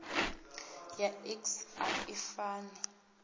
ya iks a i fani